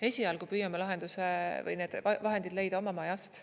Esialgu püüame lahenduse või need vahendid leida oma majast.